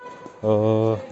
сбер поставь исполнителя лумма